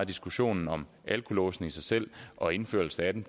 diskussionen om alkolåse i sig selv og indførelsen af dem